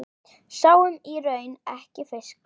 Sáum í raun ekki fisk.